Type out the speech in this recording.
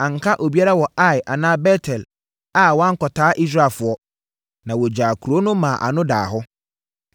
Anka obi biara wɔ Ai anaa Bet-El a wankɔtaa Israelfoɔ, na wɔgyaa kuro no maa ano daa hɔ.